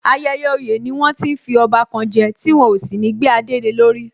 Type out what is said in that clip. Ayẹyẹ oyè ni wọ́n ti ń fi ọba kan je, tí wọ́n ó sì gbé adé le lórí